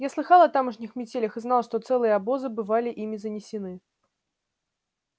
я слыхал о тамошних метелях и знал что целые обозы бывали ими занесены